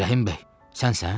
Rəhim bəy, sənsən?